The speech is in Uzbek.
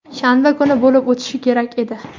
shanba kuni bo‘lib o‘tishi kerak edi.